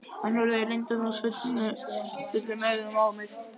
Hann horfði leyndardómsfullum augum á mig.